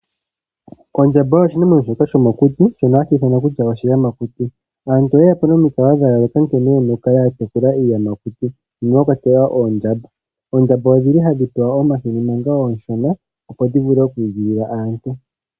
Ondjamba oyo oshinamweno shomokuti ano oshiyamakuti. Aantu oyeya po nomikalo dhayooloka nkene yena okutekula iiyamakuti mwakwatelwa oondjamba. Oondjamba ohadhi pewa omahini manga ooshona opo dhiigilile aantu.